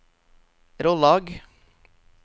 Rollag